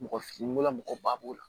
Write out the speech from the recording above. Mɔgɔ fin bola mɔgɔ ba b'o la